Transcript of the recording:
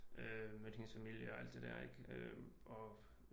Mødt hendes familie og alt det dér ik og